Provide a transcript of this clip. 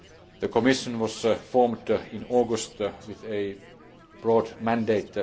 The Commission was formed in August with a broad mandate.